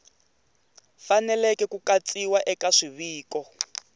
faneleke ku katsiwa eka swiviko